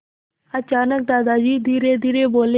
अचानक दादाजी धीरेधीरे बोले